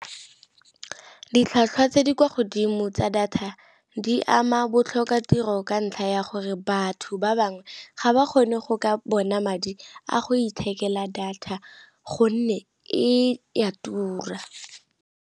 Ditlhwatlhwa tse di kwa godimo tsa data di ama botlhokatiro ka ntlha ya gore batho ba bangwe ga ba kgone go ka bona madi a go ithekela data gonne e a tura.